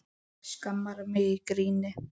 Skammar mig í gríni.